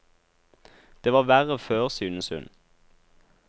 Det var verre før, synes hun.